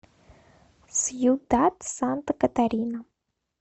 сьюдад санта катарина